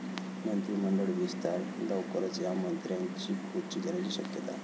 मंत्रिमंडळ विस्तार लवकरच, या मंत्र्यांची खुर्ची जाण्याची शक्यता?